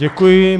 Děkuji.